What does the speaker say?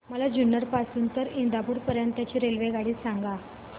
मला जुन्नर पासून तर इंदापूर पर्यंत ची रेल्वेगाडी सांगा